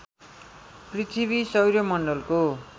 पृथ्वी सौर्यमण्डलको